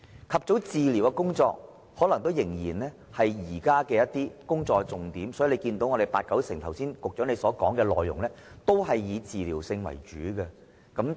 "及早治療"可能仍是現時工作的重點，因此，到局長剛才的發言，內容十居其九都是以治療為主的工作。